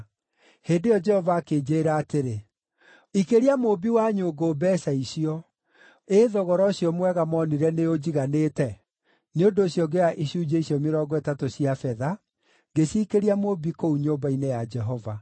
Hĩndĩ ĩyo Jehova akĩnjĩĩra atĩrĩ, “Ikĩria mũũmbi wa nyũngũ mbeeca icio”: ĩ thogora ũcio mwega moonire nĩũnjiganĩte! Nĩ ũndũ ũcio ngĩoya icunjĩ icio mĩrongo ĩtatũ cia betha, ngĩciikĩria mũũmbi kũu nyũmba-inĩ ya Jehova.